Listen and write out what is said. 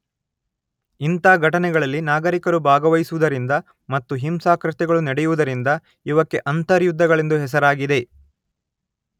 ಇಂಥ ಘಟನೆಗಳಲ್ಲಿ ನಾಗರಿಕರೂ ಭಾಗವಹಿಸುವುದರಿಂದ ಮತ್ತು ಹಿಂಸಾಕೃತ್ಯಗಳು ನಡೆಯುವುದರಿಂದ ಇವಕ್ಕೆ ಅಂತರ್ಯುದ್ಧಗಳೆಂದು ಹೆಸರಾಗಿದೆ